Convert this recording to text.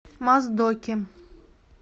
моздоке